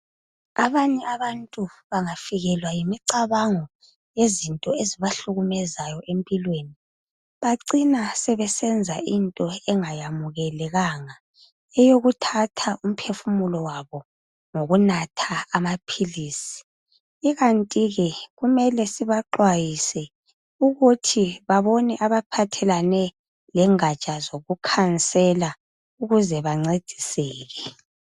Abanye abantu bengafikelwa yimicabango yezinto ezibahlukumezayo empilweni bacina besenza into engayamukelekanga eyokuthatha umphefumulo wabo ngokunatha amapills ikanti ke kumele sibaxhwayise ukuthi babone abaphathelane lengaja zokucouncilor ukuze bancediseke.